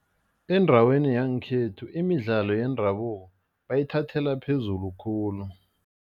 Endaweni yangekhethu imidlalo yendabuko bayithathela phezulu khulu.